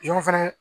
Yɔrɔ fɛnɛ